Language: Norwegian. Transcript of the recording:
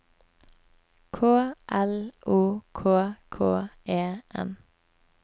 K L O K K E N